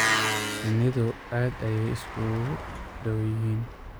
Shinnidu aad ayay isugu dhow yihiin.